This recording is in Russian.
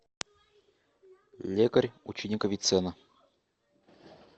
лекарь ученик авиценны